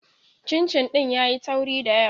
Cincin ɗin yayi tauri da yawa